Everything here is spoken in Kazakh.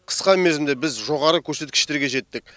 қысқа мерзімде біз жоғары көрсеткіштерге жеттік